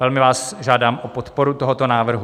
Velmi vás žádám o podporu tohoto návrhu.